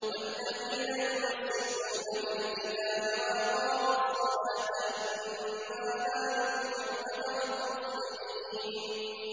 وَالَّذِينَ يُمَسِّكُونَ بِالْكِتَابِ وَأَقَامُوا الصَّلَاةَ إِنَّا لَا نُضِيعُ أَجْرَ الْمُصْلِحِينَ